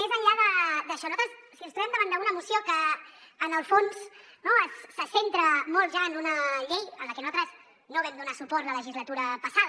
més enllà d’això nosaltres ens trobem davant d’una moció que en el fons se centra molt ja en una llei a la que nosaltres no vam donar suport la legislatura passada